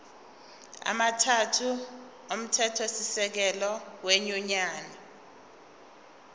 amathathu omthethosisekelo wenyunyane